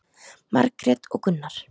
Margrét og Gunnar.